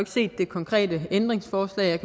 set det konkrete ændringsforslag